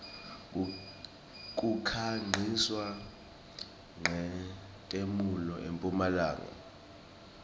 kukhanqiswa nqetemuelo empumlanga